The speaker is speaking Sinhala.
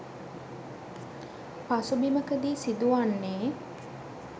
පසුබිමකදී සිදුවන්නේ